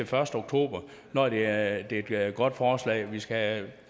første oktober når det er et er et godt forslag vi skal